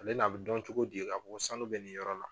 Ale n'a bɛ dɔn cogo di k'a fɔ ko sanu bɛ nin yɔrɔ la